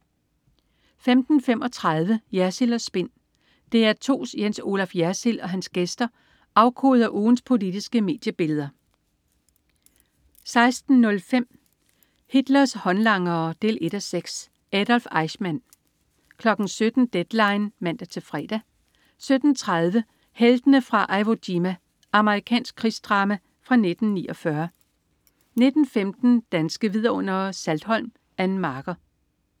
15.35 Jersild & Spin. DR2's Jens Olaf Jersild og hans gæster afkoder ugens politiske mediebilleder 16.05 Hitlers håndlangere 1:6. Adolf Eichmann 17.00 Deadline 17:00 (man-fre) 17.30 Heltene fra Iwo Jima. Amerikansk krigsdrama fra 1949 19.15 Danske Vidundere: Saltholm. Ann Marker